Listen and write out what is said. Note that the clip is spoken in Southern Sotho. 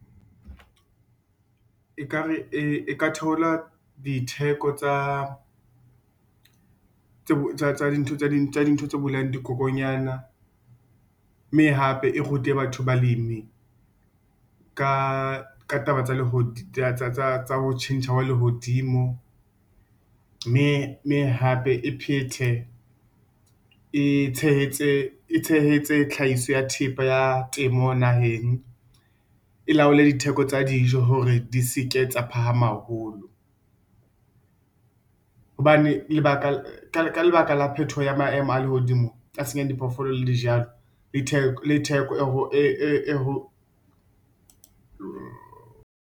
Ekare e ka theola ditheko tsa tse ding tsa dintho tse bolayang dikokonyana, mme hape e rute batho, balemi ka taba tsa ho tjhentjha hwa lehodimo. Mme hape e phethe, e tshehetse tlhahiso ya thepa ya temo naheng. E la o le ditheko tsa dijo hore di seke tsa phahama haholo hobane ka lebaka la phetoho ya maemo a lehodimo a senyang diphoofolo le dijalo le theko .